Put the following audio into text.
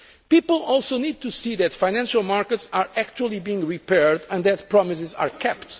People also need to see that financial markets are actually being repaired and that promises are kept.